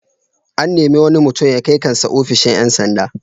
An nemi wani mutum ya kai kan sa ofishin ƴan sanda.